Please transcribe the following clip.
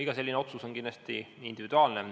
Iga selline otsus on kindlasti individuaalne.